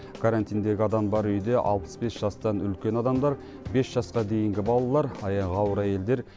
карантиндегі адам бар үйде алпыс бес жастан үлкен адамдар бес жасқа дейінгі балалар аяғы ауыр әйелдер